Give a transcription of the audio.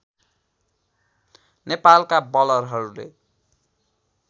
नेपालका बलरहरूले